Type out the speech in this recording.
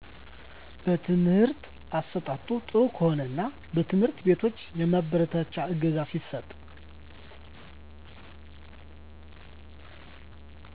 የትምህርት አሠጣጡ ጥሩ ከሆነና በትምህርት ቤቶች የማበረታቻ እገዛ ሲሰጥ